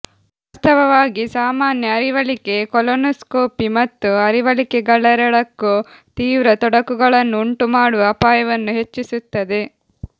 ವಾಸ್ತವವಾಗಿ ಸಾಮಾನ್ಯ ಅರಿವಳಿಕೆ ಕೊಲೊನೋಸ್ಕೋಪಿ ಮತ್ತು ಅರಿವಳಿಕೆಗಳೆರಡಕ್ಕೂ ತೀವ್ರ ತೊಡಕುಗಳನ್ನು ಉಂಟುಮಾಡುವ ಅಪಾಯವನ್ನು ಹೆಚ್ಚಿಸುತ್ತದೆ